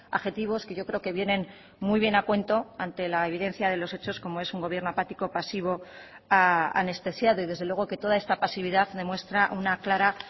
adjetivos que yo creo que vienen muy bien a cuento ante la evidencia de los hechos como es un gobierno apático pasivo anestesiado y desde luego que toda esta pasividad demuestra una clara